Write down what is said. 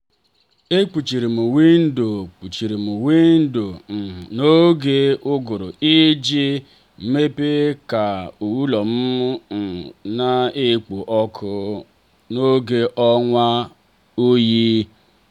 e kpuchirim windo kpuchirim windo um n'oge uguru iji um mee ka ụlọ um na-ekpo ọkụ n'oge ọnwa oyi.